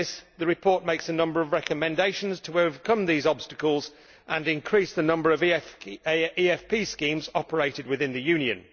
The report makes a number of recommendations to overcome these obstacles and increase the number of EFP schemes operated in the Union.